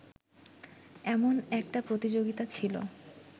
এমন একটা প্রতিযোগিতা ছিল